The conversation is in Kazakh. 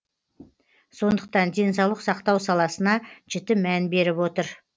сондықтан денсаулық сақтау саласына жіті мән беріп отыр